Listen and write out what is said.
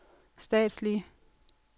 statslige